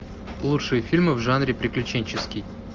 лучшие фильмы в жанре приключенческий